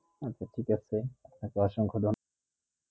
আচ্ছা ঠিক আছে আজকে অসংখ